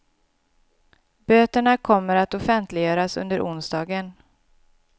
Böterna kommer att offentliggöras under onsdagen.